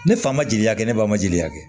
Ne fa ma jeli kɛ ne ba ma jeli ka kɛ